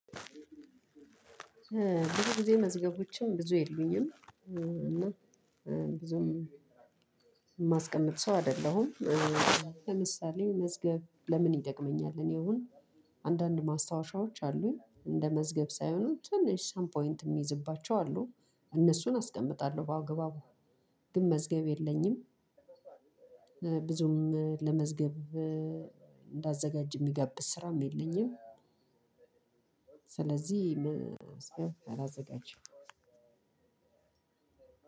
ብዙ ጊዜ መዝገቦችም ብዙ የሉኝም እና ብዙም የማስቀመጥ ሰው አይደለሁም። ለምሳሌ መዝገብ ለምን ይጠቅመኛል እኔ አሁን አንዳንድ ማስታወሻዎች አሉኝ እንደ መዝገብ ሳይሆኑ ትንሽ ሳም ፖይንት የምይዝባቸው አሉ እነሱን አስቀምጣለሁ በአግባቡ። ግን መዝገብ የለኝም። ብዙም ለመዝገብ እንዳዘጋጅ የሚጋብዝ ስራም የለኝም። ስለዚህ መዝገብ አላዘጋጅም።